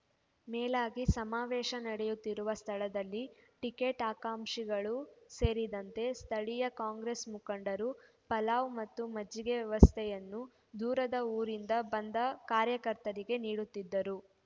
ಮೇಲಾಗಿ ಸಮಾವೇಶ ನಡೆಯುತ್ತಿರುವ ಸ್ಥಳದಲ್ಲಿ ಟಿಕೆಟ್ ಆಕಾಂಕ್ಷಿಗಳು ಸೇರಿದಂತೆ ಸ್ಥಳೀಯ ಕಾಂಗ್ರೆಸ್ ಮುಖಂಡರು ಪಲಾವ್ ಮತ್ತು ಮಜ್ಜಿಗೆ ವ್ಯವಸ್ಥೆಯನ್ನು ದೂರದ ಊರಿಂದ ಬಂದ ಕಾರ್ಯಕರ್ತರಿಗೆ ನೀಡುತ್ತಿದ್ದರು